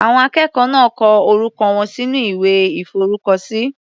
Àwọn akẹ́kọ̀ọ́ náà kọ orúkọ wọn sínú ìwé ìforúkọ sí.